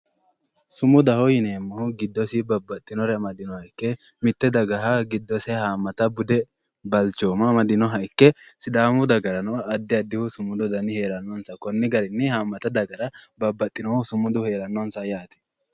Sumudaho yinneemmohu mitte dagaha budese balchommase amadinoha ikke sidaamu dagarano babbaxinohu sumudu heeranonsa yaate konni daafira wole daga haamattate babbaxehu sumudu heeranonsa yaate.